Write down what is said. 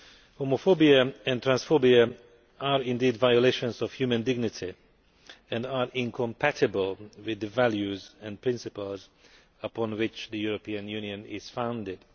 Homophobia and transphobia are indeed violations of human dignity and are incompatible with the values and principles upon which the European Union is founded.